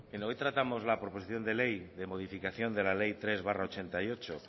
bien hoy tratamos la proposición de ley de modificación de la ley tres barra mil novecientos ochenta y ocho